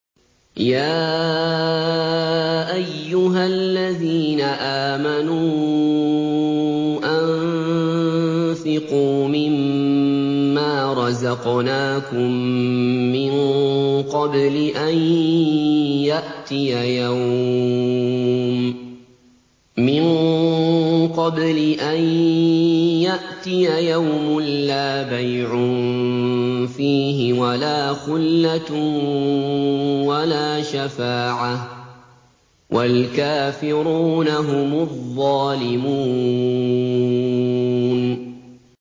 يَا أَيُّهَا الَّذِينَ آمَنُوا أَنفِقُوا مِمَّا رَزَقْنَاكُم مِّن قَبْلِ أَن يَأْتِيَ يَوْمٌ لَّا بَيْعٌ فِيهِ وَلَا خُلَّةٌ وَلَا شَفَاعَةٌ ۗ وَالْكَافِرُونَ هُمُ الظَّالِمُونَ